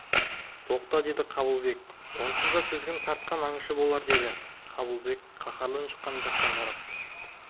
тоқта деді қабылбек онсыз да тізгін тартқан аңшы болар деді қабылбек қаһарлы үн шыққан жаққа құлақ